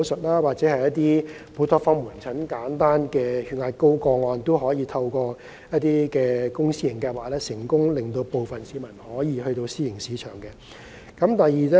某些門診服務，例如高血壓個案，可以透過公私營合作計劃，令部分市民轉向私營醫療機構尋求醫療服務。